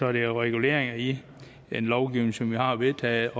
er det jo reguleringer i en lovgivning som vi har vedtaget